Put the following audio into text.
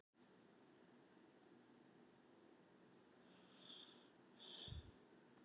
Þess vegna er ég hér.